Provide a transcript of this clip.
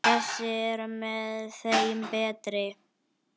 Þessi er með þeim betri.